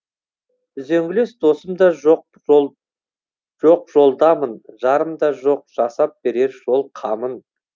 үзеңгілес досым да жоқ жолдамын жарым да жоқ жасап берер жол қамын